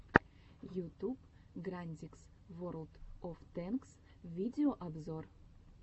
ютуб грандикс ворлд оф тэнкс видеообзор